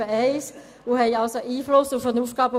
Sie haben also Einfluss auf den AFP.